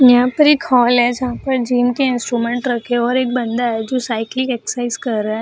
यहाँ पर एक हॉल है जहाँ पर जिम के इंस्ट्रूमेंट रखे है और एक बंदा है जो साइकिल एक्सरसाइज कर रहा है ।